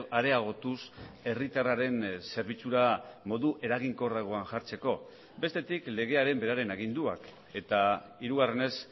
areagotuz herritarraren zerbitzura modu eraginkorragoan jartzeko bestetik legearen beraren aginduak eta hirugarrenez